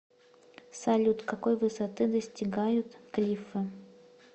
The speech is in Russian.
салют какой высоты достигают клиффы